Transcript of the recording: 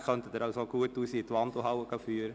Ihre Gespräche können Sie in der Wandelhalle führen.